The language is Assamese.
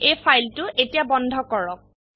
এই ফাইলটো এতিয়া বন্ধ কৰক